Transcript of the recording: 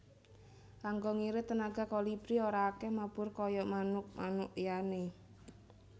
Kanggo ngirit tenaga Kolibri ora akèh mabur kaya manuk manuk liyané